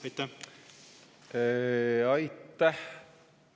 Aitäh!